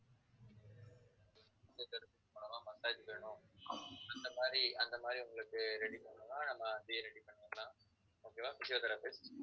physiotherapy வேணும் massage வேணும் அந்த மாதிரி அந்த மாதிரி உங்களுக்கு ready பண்ணனும்னா நாம அதையும் ready பண்ணிரலாம் okay வா physiotherapy